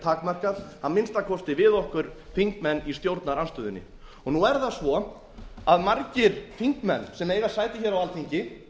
takmarkað að minnsta kosti við okkur þingmenn í stjórnarandstöðunni nú er það svo að margir þingmenn sem eiga sæti á alþingi